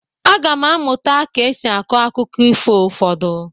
Aga m amụta ka e si akọ akụkọ ifo ụfọdụ.